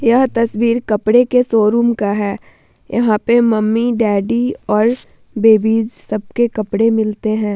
यह तस्वीर कपड़े के शोरूम का है। यहाँ पे मम्मी डैडी और बेबीज सबके कपड़े मिलते है।